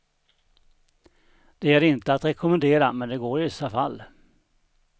Det är inte att rekommendera, men det går i vissa fall.